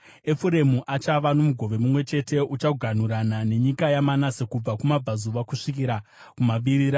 Efuremu achava nomugove mumwe chete; uchaganhurana nenyika yaManase kubva kumabvazuva kusvikira kumavirira.